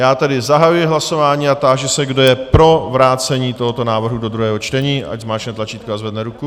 Já tedy zahajuji hlasování a táži se, kdo je pro vrácení tohoto návrhu do druhého čtení, ať zmáčkne tlačítko a zvedne ruku.